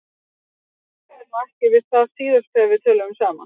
Þú hikaðir nú ekki við það síðast þegar við töluðum saman.